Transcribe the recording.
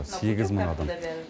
сегіз мың адам